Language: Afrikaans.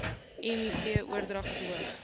miv oordrag verhoog